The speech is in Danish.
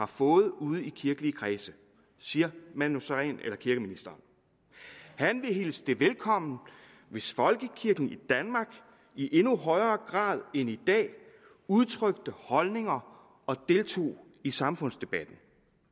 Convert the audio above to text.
får ude i de kirkelige kredse siger manu sareen eller kirkeministeren han ville hilse det velkommen hvis folkekirken i danmark i endnu højere grad end i dag udtrykte holdninger og deltog i samfundsdebatten